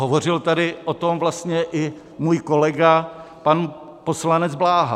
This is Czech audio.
Hovořil tady o tom vlastně i můj kolega pan poslanec Bláha.